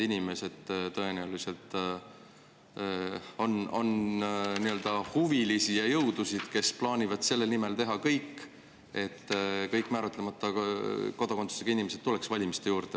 Tõenäoliselt on nii-öelda huvilisi ja jõudusid, kes plaanivad teha kõik selle nimel, et kõik määratlemata kodakondsusega inimesed valima.